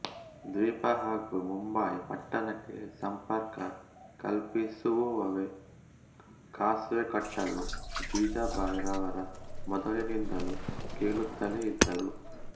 ದ್ವೀಪ ಹಾಗೂ ಮುಂಬಯಿ ಪಟ್ಟಣಕ್ಕೆ ಸಂಪರ್ಕ ಕಲ್ಪಿಸಲೋಸುವವೇ ಕಾಸ್ ವೆ ಕಟ್ಟಲು ಜೀಜೀಭಾಯ್ ರವರ ಮೊದಲಿನಿಂದಲೂ ಹೇಳುತ್ತಲೇ ಇದ್ದರು